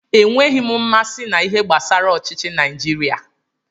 Enweghị m mmasị na-ihe gbasara ọchịchi Naijiria.